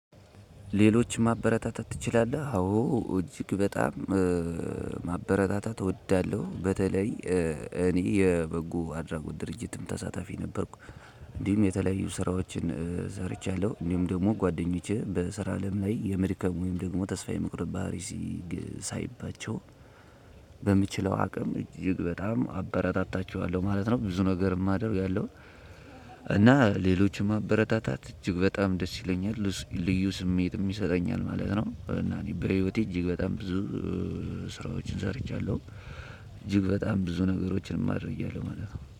ሌሎች ማበረታታት ትችላለህ? አዎ እጅግ በጣም። ማበረታታት እወዳለሁ በተለይ እኔ የበጎ አድራጎት ድርጅትም ተሳታፊ ነበርኩ። እንዲሁም የተለያዩ ስራዎችን ሰርቻለሁ። እንዲሁም ደግሞ ጓደኞቼ በስራ አለም ላይ የመድከም ወይም ደግሞ ተስፋ የመቁረጥ ባህሪ ሳይባቸው በምችለው አቅም እጅግ በጣም አበረታታቸዋለሁ ማለት ነው። ብዙ ነገር የማደርግ ያለው እና ሌሎችን ማበረታታት እጅግ በጣም ደስ ይለኛል። ልዩ ስሜት ይሰጠኛል ማለት ነው። እና እኔ በህይወቴ እጅግ በጣም ብዙ ስራዎችን ሰርቻለሁ። እጅግ በጣም ብዙ ነገሮችን አድርጌያለሁ ማለት ነው።